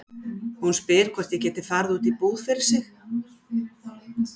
Hún spyr hvort ég geti farið út í búð fyrir sig.